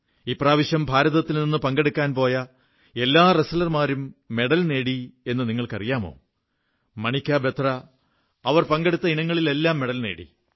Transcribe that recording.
ഇപ്രാവശ്യം ഭാരതത്തിൽനിന്ന് പങ്കെടുക്കാൻ പോയ എല്ലാ റെസ്റ്റ്ലർമാരും മെഡൽ നേടി എന്നു നിങ്ങൾക്കറിയാമോ മണികാ ബത്ര അവർ പങ്കെടുത്ത ഇനങ്ങളിലെല്ലാം മെഡൽ നേടി